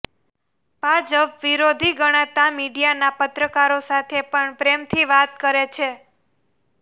ભાજપ વિરોધી ગણાતા મીડિયાના પત્રકારો સાથે પણ પ્રેમથી વાત કરે છે